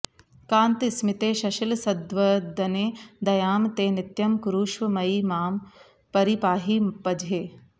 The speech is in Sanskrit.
कान्तस्मिते शशिलसद्वदने दयां ते नित्यं कुरुष्व मयि मां परिपाहि पझे